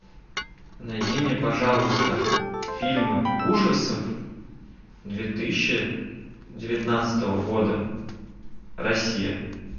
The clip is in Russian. найди мне пожалуйста фильмы ужасов две тысячи девятнадцатого года россия